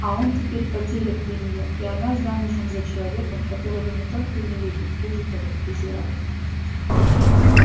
а он теперь потерян для неё и она замужем за человеком которого не только не любит хуже того презирает